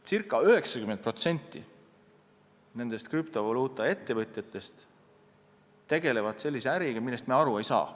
Circa 90% krüptovaluutaettevõtjatest tegeleb sellise äriga, millest me aru ei saa.